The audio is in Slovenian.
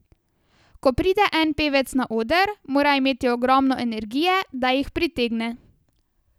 Ko pride en pevec na oder, mora imeti ogromno energije, da jih pritegne.